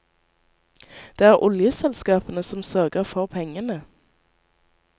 Det er oljeselskapene som sørger for pengene.